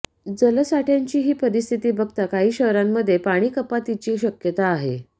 जलसाठय़ाची ही परिस्थिती बघता काही शहरांमध्ये पाणीकपातीची शक्यता आहे